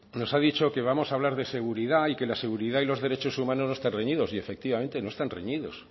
nos ha dicho que vamos a hablar de seguridad y que la seguridad y los derechos humanos no están reñidos y efectivamente no están reñidos